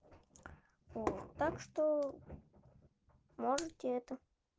вот так что можете это